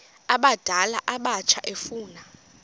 abadala abatsha efuna